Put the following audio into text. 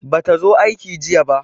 Bata zo aiki jiya ba.